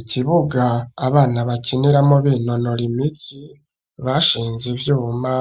Ikibuga abana bakiniramwo binonora imitsi bashinze ivyuma